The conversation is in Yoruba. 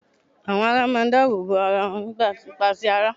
Àwọn ará máa ń dáàbò bo àwọn arábìnrin wọn nípa ti ara